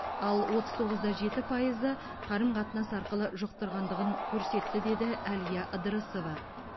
ал отыз тоғыз да жеті пайызы қарым қатынас арқылы жұқтырғандығын көрсетті деді әлия ыдырысова